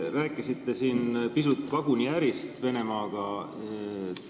Te rääkisite siin pisut vaguniärist Venemaaga.